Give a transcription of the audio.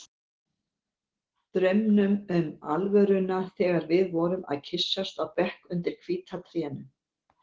Draumnum um alvöruna þegar við vorum að kyssast á bekk undir hvíta trénu.